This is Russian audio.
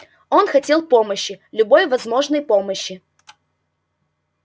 он хотел помощи любой возможной помощи